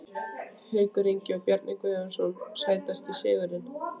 Haukur Ingi og Bjarni Guðjóns Sætasti sigurinn?